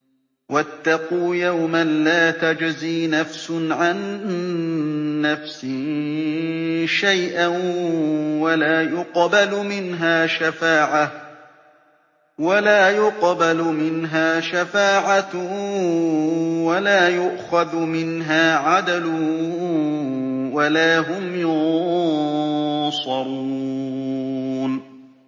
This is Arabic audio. وَاتَّقُوا يَوْمًا لَّا تَجْزِي نَفْسٌ عَن نَّفْسٍ شَيْئًا وَلَا يُقْبَلُ مِنْهَا شَفَاعَةٌ وَلَا يُؤْخَذُ مِنْهَا عَدْلٌ وَلَا هُمْ يُنصَرُونَ